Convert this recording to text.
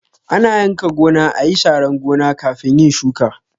Ana yanka gona, ayi sharan gona kafin yin shuka